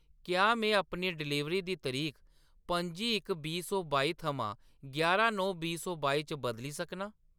क्या में अपनी डलीवरी दी तरीक पंजी इक बीह् सौ बाई थमां यारां नौ बीह् सौ बाई च बदली सकनां ?